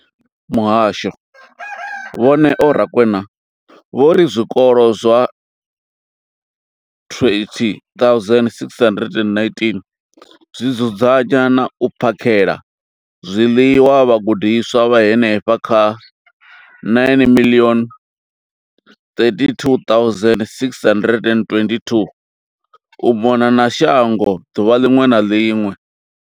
Muhasho, Vho Neo Rakwena, vho ri zwikolo zwa 20 619 zwi dzudzanya na u phakhela zwiḽiwa vhagudiswa vha henefha kha 9 032 622 u mona na shango ḓuvha ḽiṅwe na ḽiṅwe.